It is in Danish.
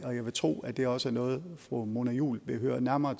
og jeg vil tro at det også er noget fru mona juul vil høre nærmere